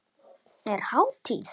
Er hátíð?